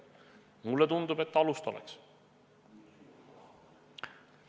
Mulle tundub, et alust selleks siiski oleks.